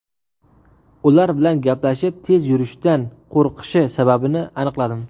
Ular bilan gaplashib, tez yurishdan qo‘rqishi sababini aniqladim.